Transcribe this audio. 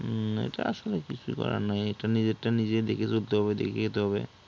হুম এটা আসলে কিছু করার নাই, এটা নিজের টা নিজে দেখে চলতে হবে দেখে খেতে হবে